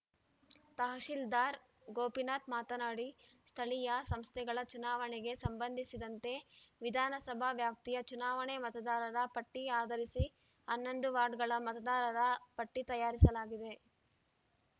ತಹಸೀಲ್ದಾರ್‌ ಗೋಪಿನಾಥ್‌ ಮಾತನಾಡಿ ಸ್ಥಳೀಯ ಸಂಸ್ಥೆಗಳ ಚುನಾವಣೆಗೆ ಸಂಬಂಧಿಸಿದಂತೆ ವಿಧಾನಸಭಾ ವ್ಯಾಪ್ತಿಯ ಚುನಾವಣಾ ಮತದಾರರ ಪಟ್ಟಿಆಧರಿಸಿ ಹನ್ನೊಂದು ವಾರ್ಡುಗಳ ಮತದಾರರ ಪಟ್ಟಿತಯಾರಿಸಲಾಗಿದೆ